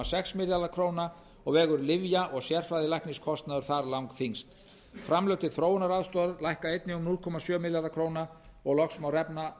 sex milljarða króna og vegur lyfja og sérfræðilækniskostnaður þar langþyngst framlög til þróunaraðstoðar lækka einnig um núll komma sjö milljarða króna loks má